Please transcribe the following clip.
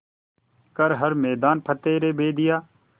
कर हर मैदान फ़तेह रे बंदेया